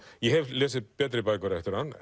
ég hef lesið betri bækur eftir hann